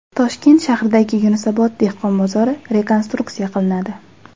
Toshkent shahridagi Yunusobod dehqon bozori rekonstruksiya qilinadi.